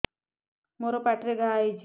ମୋର ପାଟିରେ ଘା ହେଇଚି